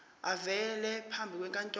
avele phambi kwenkantolo